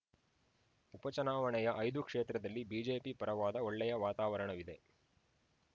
ಉಪಚುನಾವಣೆಯ ಐದು ಕ್ಷೇತ್ರದಲ್ಲಿ ಬಿಜೆಪಿ ಪರವಾದ ಒಳ್ಳೆಯ ವಾತಾವರಣವಿದೆ